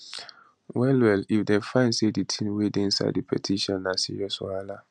well well if dem find say di tins wey dey inside di petition na serious wahala